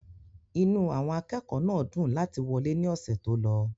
inú àwọn akẹ́kọ̀ọ́ náà dùn láti wọlé ní ọ̀sẹ̀ tó lọ